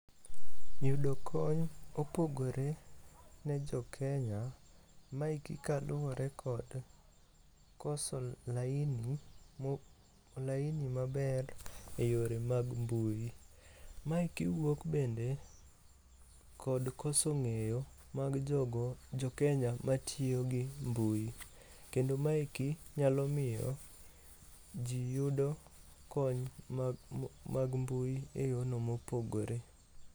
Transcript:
Yudo kony opogore ne jokenya, maeki kaluwore kod koso laini maber e yore mag mbui. Maeki wuok bende kod koso ng'eyo mag jokenya matiyo gi mbui. Kendo maeki nyalo miyo ji yudo kony mag mbui e yono mopogore.